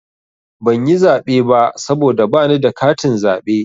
Ban yi zaɓe ba saboda bani da katin zaɓe.